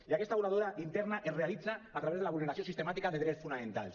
i aquesta voladura interna es realitza a través de la vulneració sistemàtica de drets fonamentals